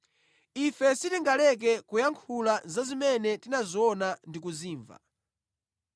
Ife sitingaleke kuyankhula za zimene tinaziona ndi kuzimva.”